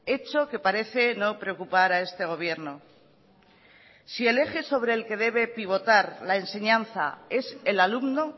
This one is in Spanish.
hecho que parece no preocupar a este gobierno si el eje sobre el que debe pivotar la enseñanza es el alumno